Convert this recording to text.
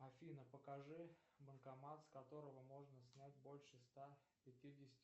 афина покажи банкомат с которого можно снять больше ста пятидесяти